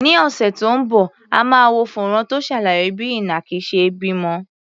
Ní ọ̀sẹ̀ tó ń bọ̀, a máa wo fọ́nrán tó ṣàlàyé bí ìnàkí ṣe ń bímọ.